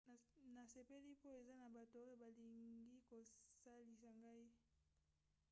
nasepeli mpo eza na bato oyo balingi kosalisa ngai